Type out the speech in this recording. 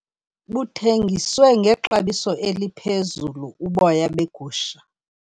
Buthengisiwe ngexabiso eliphezulu uboya begusha.